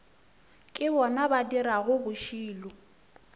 ke bona ba dirago bošilo